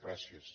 gràcies